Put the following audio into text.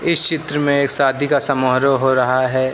इस चित्र में एक शादी का समारोह हो रहा है।